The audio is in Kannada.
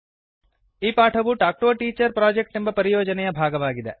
ಈ ಪಾಠವು talk to a teacher project ಎಂಬ ಪರಿಯೋಜನೆಯ ಭಾಗವಾಗಿದೆ